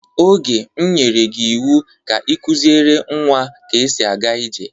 Oge, m nyerey gị iwu ka ị kuziere nwa ka esi aga ije!